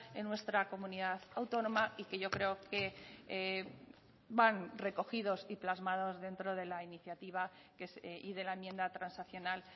en nuestra comunidad autónoma y que yo creo que van recogidos y plasmados dentro de la iniciativa y de la enmienda transaccional